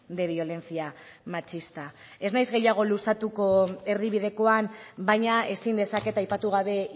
de violencia machista ez naiz gehiago luzatuko erdibidekoan baina ezin dezaket aipatu gabe